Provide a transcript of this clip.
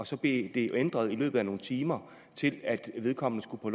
så blev det ændret i løbet af nogle timer til at vedkommende skulle på